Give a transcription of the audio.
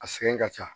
A sɛgɛn ka ca